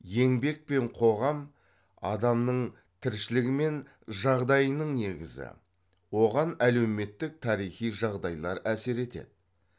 еңбек пен қоғам адамның тіршілігі мен жағдайының негізі оған әлеуметтік тарихи жағдайлар әсер етеді